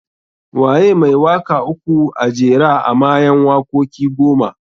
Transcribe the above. Waye mai waka uku a jera a mayan wakoki goma?